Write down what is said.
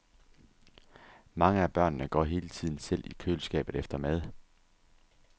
Mange af børnene går hele tiden selv i køleskabet efter mad.